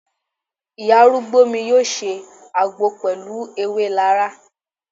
Ìyá arúgbó mi yọ ṣe àgbo pẹlu ewé laraa